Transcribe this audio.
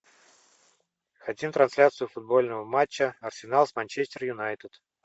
хотим трансляцию футбольного матча арсенал с манчестер юнайтед